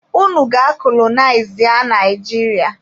Unu gaa kolonịazịa Naijiria!